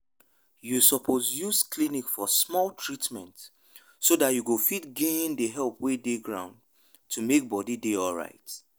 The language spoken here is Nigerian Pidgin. you suppose use clinic for small treatment so that you go fit gain the help wey dey ground to make body dey alright.